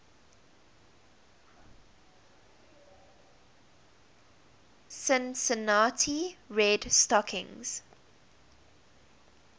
cincinnati red stockings